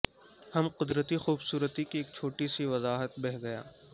ہم قدرتی خوبصورتی کی ایک چھوٹی سی وضاحت بہہ گیا